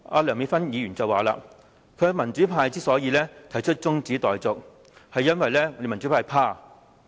梁美芬議員剛才說，民主派提出辯論中止待續議案，是因為民主派害怕。